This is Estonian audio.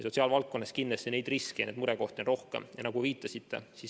Sotsiaalvaldkonnas on riske ja murekohti kindlasti rohkem.